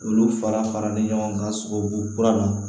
Olu fara faralen ɲɔgɔn kan sogobu kura na